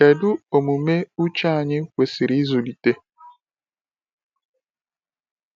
Kedu omume uche anyị kwesịrị ịzụlite?